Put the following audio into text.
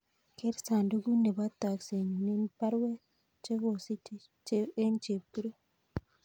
Ger sandugut nebo toksenyun en baruet chegosiche en Chepkirui